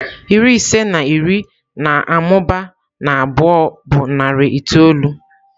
Iri ise na iri na-amụba na abụọ bụ narị itoolu.